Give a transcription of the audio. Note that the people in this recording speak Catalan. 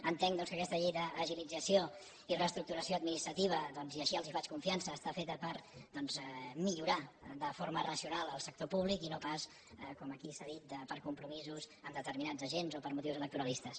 entenc doncs que aquesta llei d’agilització i reestructuració administrativa i així els en faig confiança està feta per millorar de forma racional el sector públic i no pas com aquí s’ha dit per compromisos amb determinats agents o per motius electoralistes